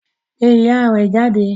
Pe iya rẹ jáde